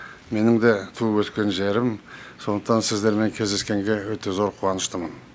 менің де туып өскен жерім сондықтан сіздермен кездескенге өте зор қуаныштымын